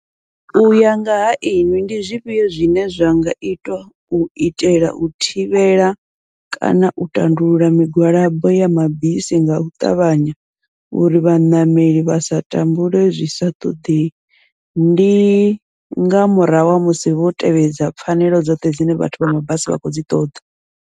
Uya ngaha iṅwi ndi zwifhio zwine zwa nga itwa u itela u thivhela kana u tandulula migwalabo ya mabisi ngau ṱavhanya uri vhaṋameli vha sa tambule zwi sa ṱoḓei, ndi nga murahu ha musi vho tevhedza pfhanelo dzoṱhe dzine vhathu vha mabasi vha kho dzi ṱoḓa.